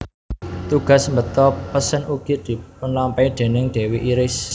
Tugas mbeta pesen ugi dipunlampahi déning dewi Iris